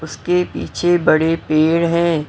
उसके पीछे बड़े पेड़ हैं।